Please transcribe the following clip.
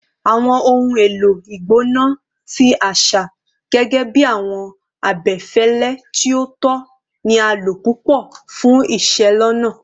Awọn ohun elo igbona ti aṣa, gẹgẹbi awọn abẹfẹlẹ ti o tọ, ni a lo pupọ fun iselona